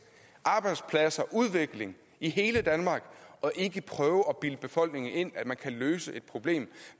arbejdspladser og udvikling i hele danmark og ikke prøve at bilde befolkningen ind at man kan løse et problem